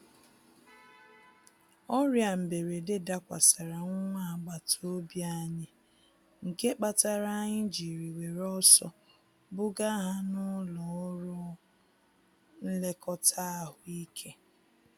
Ọrịa mberede dakwasara nwa agbata obi anyị, nke kpatara anyị jiri were ọsọ buga ha n'ụlọ ọrụ nlekọta ahụ ike.